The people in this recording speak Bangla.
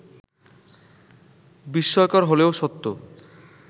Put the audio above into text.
বিস্ময়কর হলেও সত্য